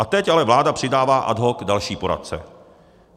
A teď ale vláda přidává ad hoc další poradce.